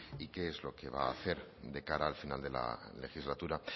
y qué es lo que va a hacer de cara al final de la legislatura